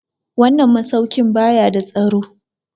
Wannan masaukin ba ya da tsaro.